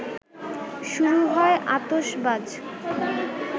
শুরু হয় আতশবাজ